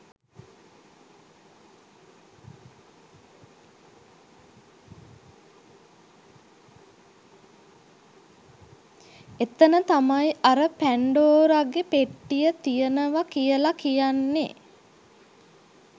එතන තමයි අර පැන්ඩෝරගෙ පෙට්ටිය තියනව කියල කියන්නෙ